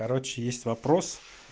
короче есть вопрос